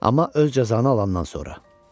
Amma öz cəzanı alandan sonra.